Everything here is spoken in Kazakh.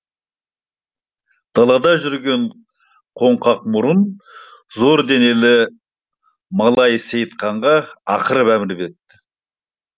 далада жүрген қоңқақ мұрын зор денелі малайы сейтқанға ақырып әмір беріпті